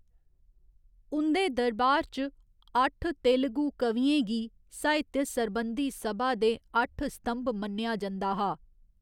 उं'दे दरबार च, अट्ठ तेलुगु कवियें गी साहित्य सरबंधी सभा दे अट्ठ स्तंभ मन्नेआ जंदा हा।